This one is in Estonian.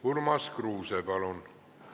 Urmas Kruuse, palun!